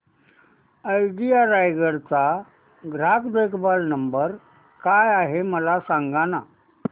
idea Raigad चा ग्राहक देखभाल नंबर काय आहे मला सांगाना